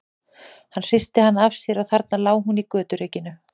Hann hristi hana af sér og þarna lá hún í göturykinu.